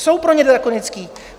Jsou pro ně drakonické.